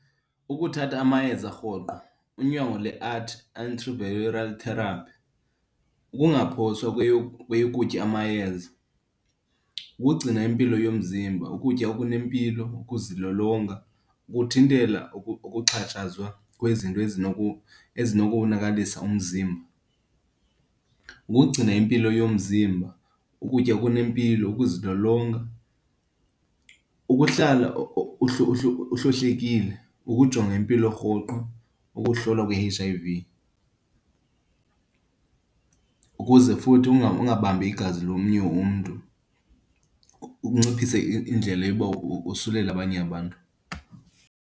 Ukuthatha amayeza rhoqo, unyango antiviral therapy, ukungaphoswa kweyokutya amayeza, ukugcina impilo yomzimba, ukutya okunempilo, ukuzilolonga, kuthintela ukuxhatshazwa kwezinto ezinokuwonakalisa umzimba. Ukugcina impilo yomzimba, ukutya okunempilo, ukuzilolonga, ukuhlala uhlohlekile, ukujonga impilo rhoqo, ukuhlolwa kwe-H_I_V ukuze futhi ungabambi igazi lomnye umntu ukunciphisa indlela yokuba wosulele abanye abantu.